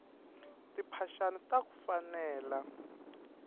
timphaxani taku fanela